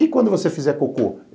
E quando você fizer cocô?